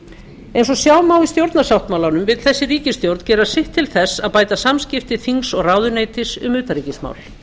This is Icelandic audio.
ríkjandi eins og sjá má í stjórnarsáttmálanum vill ríkisstjórnin gera sitt til þess að bæta samskipti þings og ráðuneytis um utanríkismál